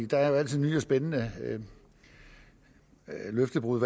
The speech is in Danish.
der er jo altid nye og spændende løftebrud